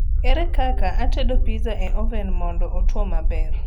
ere kaka atedo pizza e oven mondo otwo maber